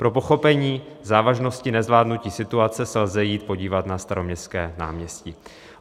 Pro pochopení závažnosti nezvládnutí situace se lze jít podívat na Staroměstské náměstí.